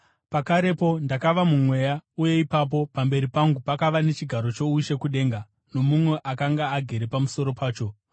Pakarepo ndakava muMweya, uye ipapo pamberi pangu pakava nechigaro choushe kudenga, nomumwe akanga agere pamusoro pacho.